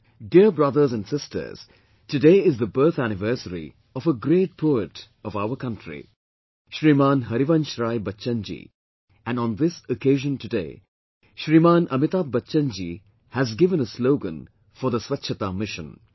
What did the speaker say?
Dear brothers and sisters, today is the birth anniversary of a great poet of our country Shriman Harivansh Rai Bachchan Ji and on this occasion today, Shriman Amitabh Bachchan Ji has given a slogan for Swachhta Mission